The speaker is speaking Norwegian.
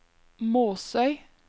Måsøy